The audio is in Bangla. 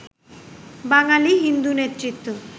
বাঙালি হিন্দু নেতৃত্ব